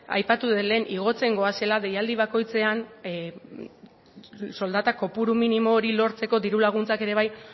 aipatu dut lehen igotzen goazela deialdi bakoitzean soldata kopuru minimo hori lortzeko diru laguntzak ere bai